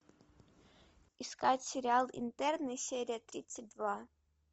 искать сериал интерны серия тридцать два